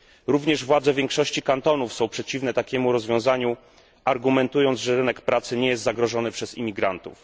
Również władze większości kantonów są przeciwne takiemu rozwiązaniu, argumentując, że rynek pracy nie jest zagrożony przez imigrantów.